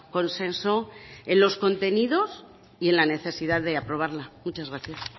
consenso en los contenidos y en la necesidad de aprobarla muchas gracias